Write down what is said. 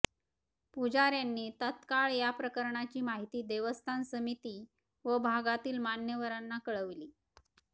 पुजाऱयांनी तत्काळ या प्रकाराची माहिती देवस्थान समिती व भागातील मान्यवरांना कळविली